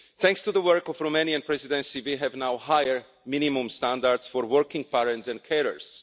Thanks to the work of the Romanian Presidency we have now higher minimum standards for working parents and carers.